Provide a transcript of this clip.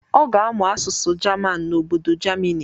Ọ ga-amụ asụsụ jaman n'obodo jamini.